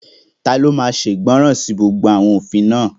Taló máa ṣe ìgbọràn sí gbogbo àwọn òfin náà?